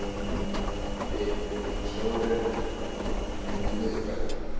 Kaldi sjórinn við miðbaug